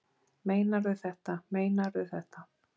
Meinarðu þetta, meinarðu þetta.